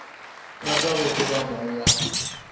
rata go tseba mong wa